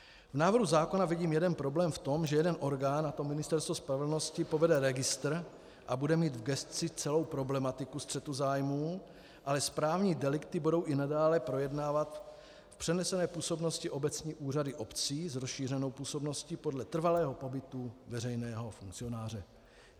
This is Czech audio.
V návrhu zákona vidím jeden problém v tom, že jeden orgán, a to Ministerstvo spravedlnosti, povede registr a bude mít v gesci celou problematiku střetu zájmů, ale správní delikty budou i nadále projednávat v přenesené působnosti obecní úřady obcí s rozšířenou působností podle trvalého pobytu veřejného funkcionáře.